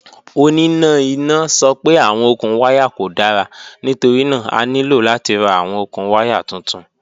Onina ina sọ pe awọn okun waya ko dara nitorina a nilo lati ra awọn okun waya tuntun.